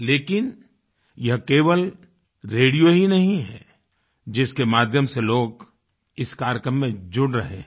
लेकिन यह केवल रेडियो ही नहीं है जिसके माध्यम से लोग इस कार्यक्रम में जुड़ रहे हैं